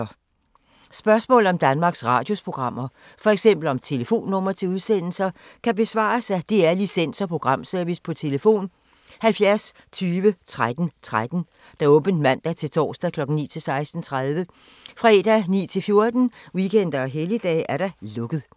Spørgsmål om Danmarks Radios programmer, f.eks. om telefonnumre til udsendelser, kan besvares af DR Licens- og Programservice: tlf. 70 20 13 13, åbent mandag-torsdag 9.00-16.30, fredag 9.00-14.00, weekender og helligdage: lukket.